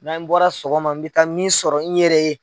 Na n bɔra sɔgɔma n bɛ taa min sɔrɔ in yɛrɛ ye.